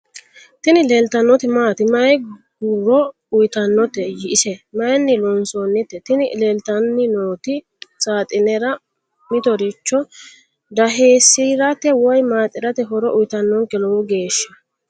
Tini leeltannoti maati? May goro uyiitannote? ise mayiinni loonsoonnite? Tini leeltanni nooti saaxinere, mittoricho daheessirate woy maaxirate horo uyiitannonke lowo geeshsha.